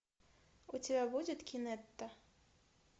у тебя будет кинетта